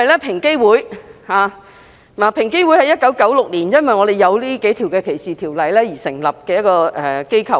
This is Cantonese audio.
平機會是在1996年因為我們有這數項反歧視條例而成立的機構。